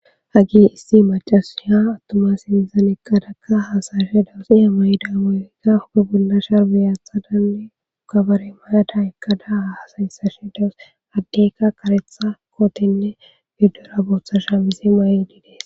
Hagi issi macasusi ha attuma sinzan eqqadakka hasashe dawusia mayida muykka hope bunnashar biyaxadanne ukabare may'ada ekkada hasaysashe dawus addeyka karetha kootenne gidora boota shaamize ma'i diides